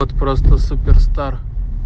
вот просто супер стар